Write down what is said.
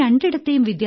ഈ രണ്ടിടത്തേയും